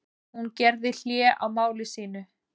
Hún gerði hlé á máli sínu.